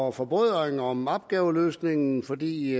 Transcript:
og forbrødring om opgaveløsningen fordi